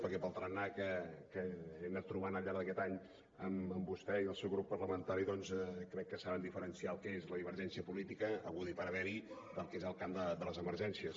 perquè pel tarannà que hem anat trobant al llarg d’aquest any amb vostè i el seu grup parlamentari doncs crec que saben diferenciar el que és la divergència política haguda i per haver del que és el camp de les emergències